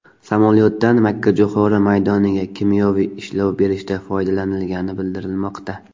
Samolyotdan makkajo‘xori maydoniga kimyoviy ishlov berishda foydalanilgani bildirilmoqda.